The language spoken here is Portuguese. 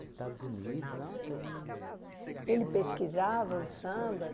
Estados Unidos, nossa, ele... Ele pesquisava os sambas?